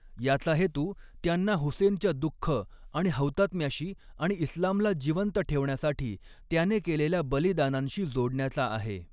याचा हेतू त्यांना हुसेनच्या दुःख आणि हौतात्म्याशी आणि इस्लामला जिवंत ठेवण्यासाठी त्याने केलेल्या बलिदानांशी जोडण्याचा आहे.